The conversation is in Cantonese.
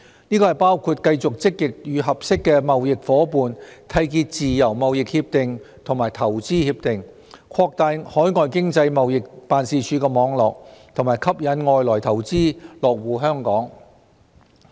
這包括繼續積極與合適的貿易夥伴締結自由貿易協定和投資協定、擴大海外經濟貿易辦事處網絡，以及吸引外來投資落戶香港等。